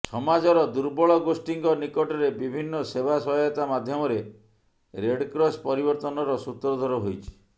ସମାଜର ଦୁର୍ବଳ ଗୋଷ୍ଠୀଙ୍କ ନିକଟରେ ବିଭିନ୍ନ ସେବା ସହାୟତା ମାଧ୍ୟମରେ ରେଡ୍କ୍ରସ ପରିବର୍ତ୍ତନର ସୂତ୍ରଧର ହୋଇଛି